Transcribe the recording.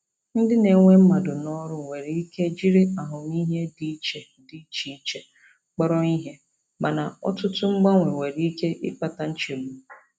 Ndị na-ewe mmadụ n'ọrụ nwere ike jiri ahụmịhe dị iche dị iche iche kpọrọ ihe, mana ọtụtụ mgbanwe nwere ike ịkpata nchegbu.